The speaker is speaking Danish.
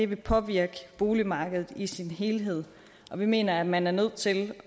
vil påvirke boligmarkedet i sin helhed og vi mener at man er nødt til